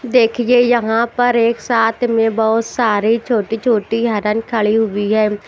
देखिए यहां पर एक साथ में बहुत सारी छोटी छोटी हरन खड़ी हुई है।